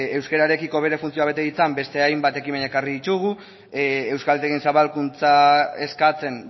euskararekiko bere funtzioa bete ditzan beste hainbat ekimen ekarri ditugu euskaltegien zabalkuntza eskatzen